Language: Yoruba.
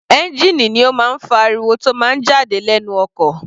Ẹ́ngìnì ni ó máa ń fa ariwo tó máa ń jáde lẹ́nu ọkọ̀.